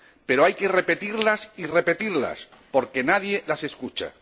Pero hay que repetirlas y repetirlas porque nadie las escucha.